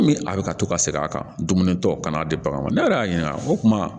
Komi a bɛ ka to ka segin a kan dumuni tɔw kan'a di bagan ma ne yɛrɛ y'a ɲininka o kuma